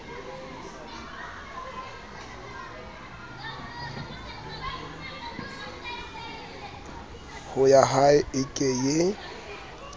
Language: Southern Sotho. ho yahae e ke ye